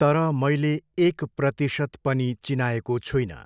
तर मैले एक प्रतिशत पनि चिनाएको छुइनँ।